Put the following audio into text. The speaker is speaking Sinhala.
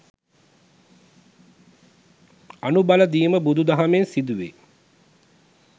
අනු බලදීම බුදු දහමෙන් සිදුවේ.